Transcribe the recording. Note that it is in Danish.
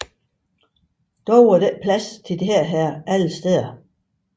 Dog er der ikke plads til dette alle steder